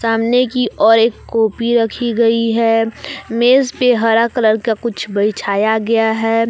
सामने की और एक कॉपी रखी गई है मेज पे हरा कलर का कुछ बिछाया गया है।